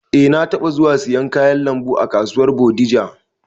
Eh, na taɓa zuwa siyan kayan lambu a kasuwar bodija